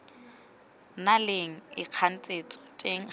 na leng ikganetso teng gareng